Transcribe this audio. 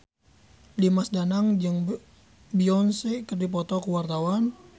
Dimas Danang jeung Beyonce keur dipoto ku wartawan